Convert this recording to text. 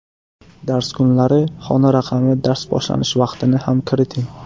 Dars kunlari, xona raqami, dars boshlanish vaqtini ham kiriting.